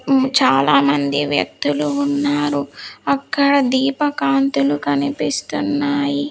చాలా మంది వ్యక్తులు ఉన్నారు అక్కడ దీప కాంతులు కనిపిస్తున్నాయి.